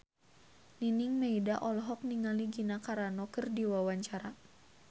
Nining Meida olohok ningali Gina Carano keur diwawancara